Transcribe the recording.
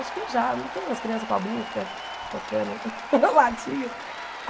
Acho que já, não tem umas crianças pobrinhas que ficam tocando latinha?